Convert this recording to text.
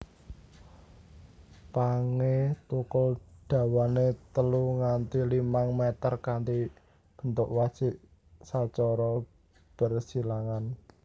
Pangé thukul dawane telu nganti limang mèter kanthi bentuk wajik sacara bersilangan